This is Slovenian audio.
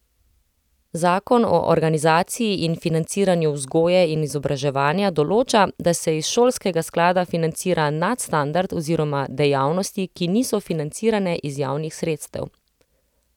Zakon o organizaciji in financiranju vzgoje in izobraževanja določa, da se iz šolskega sklada financira nadstandard oziroma dejavnosti, ki niso financirane iz javnih sredstev.